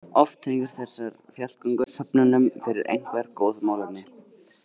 Oft tengjast þessar fjallgöngur söfnunum fyrir einhver góð málefni.